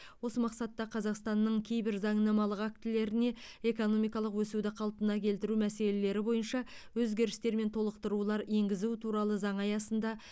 осы мақсатта қазақстанның кейбір заңнамалық актілеріне экономикалық өсуді қалпына келтіру мәселелері бойынша өзгерістер мен толықтырулар енгізу туралы заңы аясында